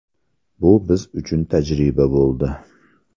Bu biz uchun tajriba bo‘ldi.